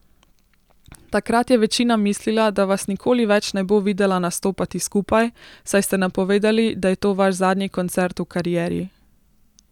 Takrat je večina mislila, da vas nikoli več ne bo videla nastopati skupaj, saj ste napovedali, da je to vaš zadnji koncert v karieri.